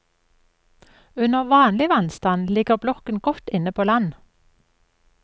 Under vanlig vannstand ligger blokken godt inne på land.